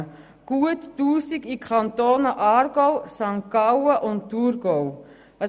Rund 1000 Stellen wurden in die Kantone Aargau, St. Gallen und Thurgau verlegt.